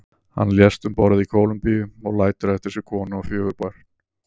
Hann lést um borð í Kólumbíu og lætur eftir sig konu og fjögur börn.